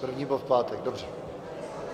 První bod v pátek, dobře.